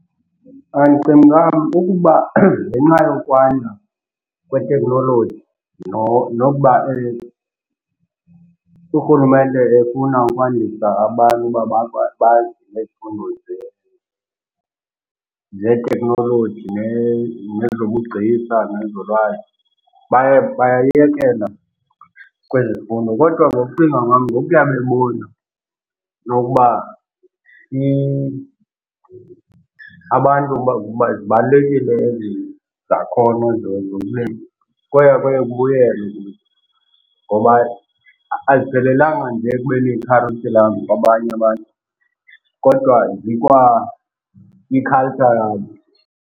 Ndicinga ukuba ngenxa yokwanda kweteknoloji nokuba urhulumente efuna ukwandisa abantu uba nezifundo zeeteknoloji nezobugcisa nezolwazi baye bayayekela kwezemfundo. Kodwa ngokucinga kwam ngokuya bebona nokuba abantu zibalulekile ezi zakhono njengomlimi kwaye kuye kubuyelwe kuzo ngoba aziphelelanga nje ekubeni yikharityhulam kwabanye abantu kodwa zikwayi-culture yabo.